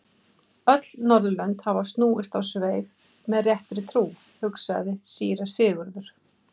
Öll Norðurlönd hafa snúist á sveif með réttri trú, hugsaði síra Sigurður.